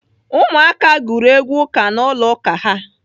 Ụmụ aka gụrụ egwu ụka n'ụlọ ụka ha.